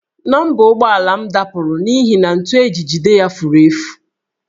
Nọmba ụgbọala m dapụrụ n'ihi na ntu e ji jide ya furu efu